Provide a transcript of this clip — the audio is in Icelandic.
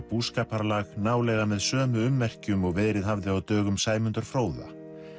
búskaparlag nálega með sömu ummerkjum og verið hafði á dögum Sæmundar fróða